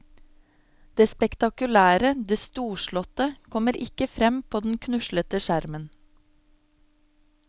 Det spektakulære, det storslåtte, kommer ikke frem på den knuslete skjermen.